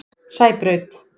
Sæbraut